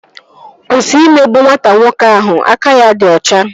Kwụsị imegbu nwata nwoke ahụ aka ya dị ọcha!